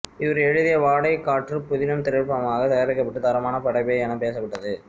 இவர் எழுதிய வாடைக் காற்று புதினம் திரைப்படமாக தயாரிக்கப்பட்டு தரமான படைப்பு எனப் பேசப்பட்டது